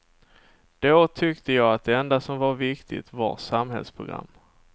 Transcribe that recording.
Då tyckte jag att det enda som var viktigt var samhällsprogram.